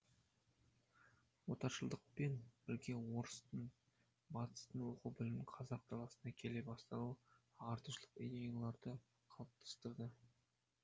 отаршылдықпен бірге орыстың батыстың оқу білімінің қазақ даласына келе бастауы ағартушылық идеяларды қалыптастырды